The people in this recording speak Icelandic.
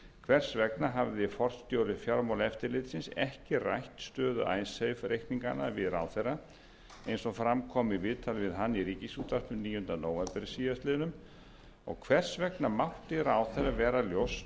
hafði forstjóri fjármálaeftirlitsins ekki rætt stöðu icesave reikninganna við ráðherra eins og fram kom í viðtali við hann í ríkisútvarpinu níunda nóvember síðastliðinn og hvers vegna mátti ráðherra vera ljóst